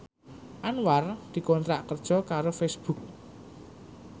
Anwar dikontrak kerja karo Facebook